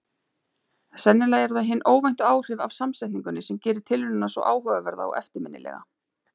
Sennilega eru það hin óvæntu áhrif af samsetningunni sem gerir tilraunina svo áhugaverða og eftirminnilega.